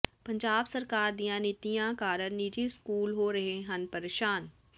ਪੰਜਾਬ ਸਰਕਾਰ ਦੀਆਂ ਨੀਤੀਆਂ ਕਾਰਨ ਨਿੱਜੀ ਸਕੂਲ ਹੋ ਰਹੇ ਹਨ ਪਰੇਸ਼ਾਨ